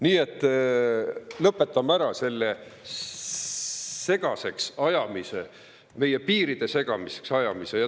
Nii et lõpetame ära selle segaseks ajamise, meie piiride segaseks ajamise.